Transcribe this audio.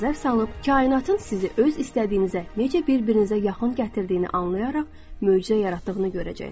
kainatın sizi öz istədiyinizə necə bir-birinizə yaxın gətirdiyini anlayaraq möcüzə yaratdığını görəcəksiz.